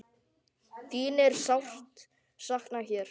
Þín er sárt saknað hér.